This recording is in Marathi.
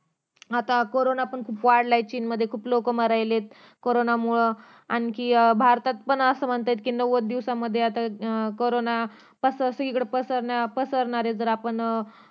आता करोना पण खूप वाढला चीन मध्ये खूप लोक मरु राहिलेत करोना मुळे आणखी भारतात पण असं म्हणतायेत की नव्वद दिवसामध्ये आता करोना पसरणार ये जर आपण